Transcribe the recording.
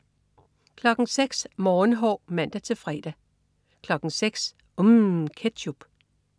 06.00 Morgenhår (man-fre) 06.00 UMM. Ketchup